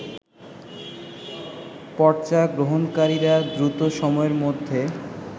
পর্চা গ্রহণকারীরা দ্রুত সময়ের মধ্যে